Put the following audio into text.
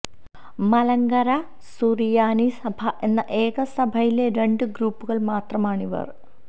മലങ്കര സുറിയാനി സഭ എന്ന ഏക സഭയിലെ രണ്ട് ഗ്രൂപ്പുകള് മാത്രമാണിവര്